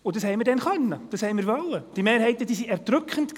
Und das konnten wir damals, das wollten wir, die Mehrheiten waren erdrückend.